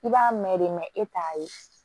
I b'a mɛn de mɛ e t'a ye